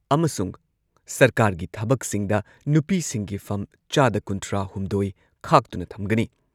ꯑꯃꯁꯨꯡ ꯁꯔꯀꯥꯔꯒꯤ ꯊꯕꯛꯁꯤꯡꯗ ꯅꯨꯄꯤꯁꯤꯡꯒꯤ ꯐꯝ ꯆꯥꯗ ꯀꯨꯟꯊ꯭ꯔꯥ ꯍꯨꯝꯗꯣꯏ ꯈꯥꯛꯇꯨꯅ ꯊꯝꯒꯅꯤ ꯫